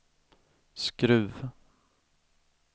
Skruv